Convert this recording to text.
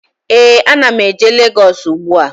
Ee, a na m eje Legọs ugbu a